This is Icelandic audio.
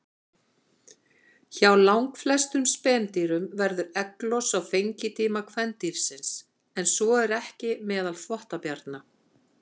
Hjá langflestum spendýrum verður egglos á fengitíma kvendýrsins, en svo er ekki meðal þvottabjarna.